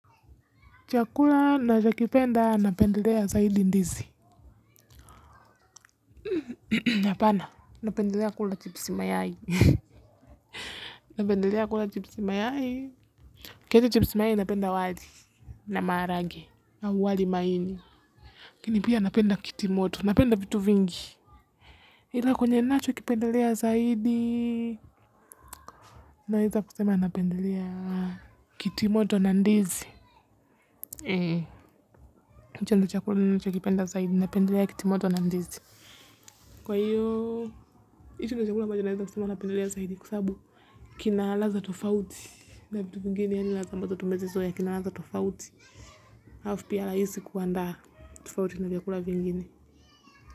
Chakula nachokipenda napendelea zaidi ndizi. Napendelea kula chipsi mayai. Napendelea kula chipsi mayai. Kiacha chipsi mayai napenda wali. Na maharage. Au wali maini. Lakini pia napenda kitu moto. Napenda vitu vingi. Ila kwenye nachokipendelea zaidi. Naweza kusema napendelea kiti moto na ndizi. Eee. Hicho ndicho chakula ninachokipenda zaidi. Napendelea kitimoto na ndizi. Kwa hiyo. Hicho ndicho chakula ambacho naweza kusema napendelea zaidi kwa sababu kina ladha tofauti na vitu vingine yaani ladha ambazo tumezizoea kina ladha tofauti. Halafu pia rahisi kuandaa tofauti na vyakula vingine.